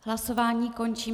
Hlasování končím.